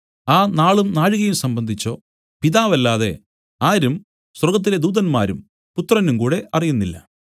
ആ നാളും നാഴികയും സംബന്ധിച്ചോ പിതാവല്ലാതെ ആരും സ്വർഗ്ഗത്തിലെ ദൂതന്മാരും പുത്രനും കൂടെ അറിയുന്നില്ല